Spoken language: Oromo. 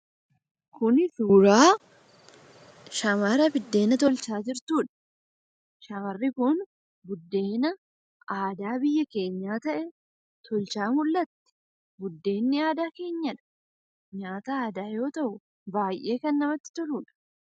Kuni suuraa shamara biddeena tolchaa jirtuudha. Shamarri kun biddeena aadaa biyya keenyaa ta'e tolchaa mul'atti. Buddeenni aadaa keenyadha. Nyaata aadaa yoo ta'u baay'ee kan namatti toluudha.